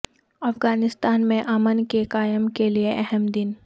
افغانستان میں امن کے قیام کے لیے اہم دن